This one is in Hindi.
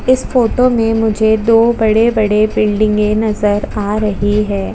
इस फोटो में मुझे दो बड़े - बड़े बिल्डिंगे नजर आ रही है।